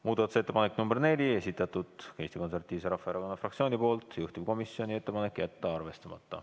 Muudatusettepanek nr 4, esitatud Eesti Konservatiivse Rahvaerakonna fraktsiooni poolt, juhtivkomisjoni ettepanek on jätta arvestamata.